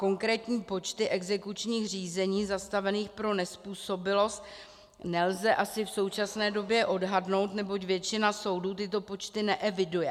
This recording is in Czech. Konkrétní počty exekučních řízení zastavených pro nezpůsobilost nelze asi v současné době odhadnout, neboť většina soudů tyto počty neeviduje.